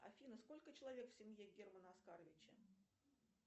афина сколько человек в семье германа оскаровича